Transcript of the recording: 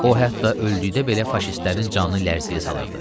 O hətta öldükdə belə faşistlərin canını lərzəyə salırdı.